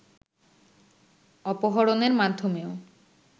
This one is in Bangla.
অপহরণের মাধ্যমেও